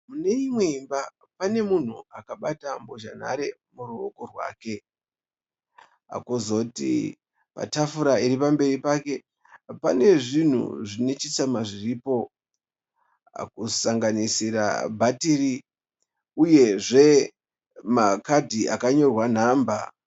Mune imwe imba pane munhu akabata mbozhanhare muruoko rwake. Kwozoti tafura iri pamberi pake pane zvinhu zvine chitsama zviripo kusanganisira bhatiri uyezve makadhi akanyorwa nhamba.